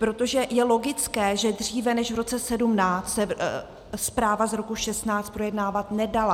Protože je logické, že dříve než v roce 2017 se zpráva z roku 2016 projednávat nedala.